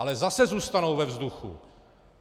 Ale zase zůstanou ve vzduchu!